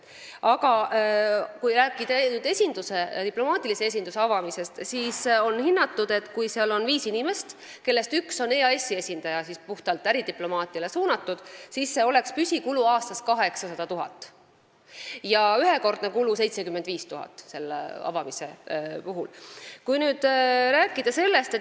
Kui rääkida nüüd diplomaatilise esinduse avamisest, siis juhul kui seal on viis inimest, kellest üks on EAS-i esindaja, ja see oleks puhtalt äridiplomaatiline, oleks püsikulu aastas 800 000 ja ühekordne avamiskulu 75 000 eurot.